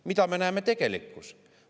Mida me näeme tegelikkuses?